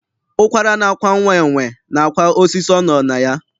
Ụkwara na-akwa nwa enwe, na-akwa osisi ọ nọ na ya.